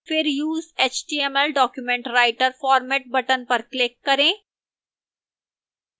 फिर use html document writer format button पर click करें